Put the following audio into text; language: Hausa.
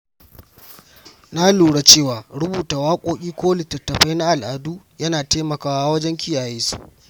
Na lura cewa rubuta waƙoƙi ko littattafai na al’adu yana taimakawa wajen kiyaye su.